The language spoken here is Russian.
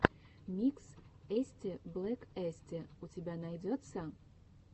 микс эстиблэкэсти у тебя найдется